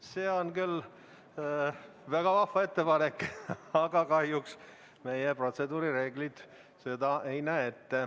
See on küll väga vahva ettepanek, aga kahjuks meie protseduurireeglid seda ei võimalda.